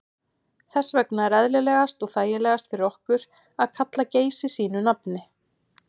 Þess vegna er eðlilegast og þægilegast fyrir okkur að kalla Geysi sínu nafni.